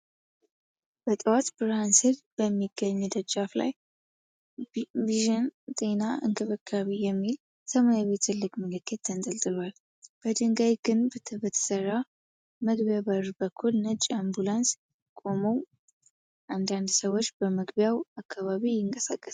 በጠዋት ብርሃን ስር በሚገኝ ደጃፍ ላይ "ቪዥን ጤና እንክብካቤ " የሚል ሰማያዊ ትልቅ ምልክት ተንጠልጥሏል። በድንጋይ ግንብ በተሠራው መግቢያ በር በኩል ነጭ አምቡላንስ ቆሟል። አንዳንድ ሰዎች በመግቢያው አካባቢ ይንቀሳቀሳሉ።